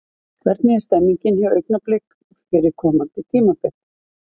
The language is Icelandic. Hvernig er stemningin hjá Augnablik fyrir komandi tímabil?